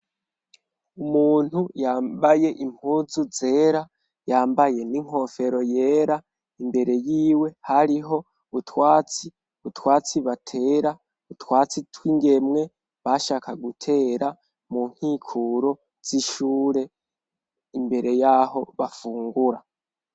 Umuntu yambaye impuzu zera yambaye n'inkofero yera. Imbere y'iwe hariho utwatsi butwatsi batera utwatsi tw'ingemwe bashaka gutera mu nkikuro z'ishure imbere yaho bafungura.